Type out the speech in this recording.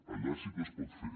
allà sí que es pot fer